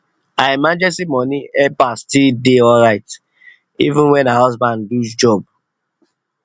her emergency money help her still dey alright even when her husband lose job job